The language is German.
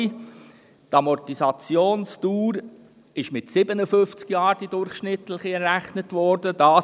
Die Amortisationsdauer ist auf durchschnittlich 57 Jahre errechnet worden.